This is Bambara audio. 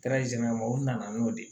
u nana n'o de ye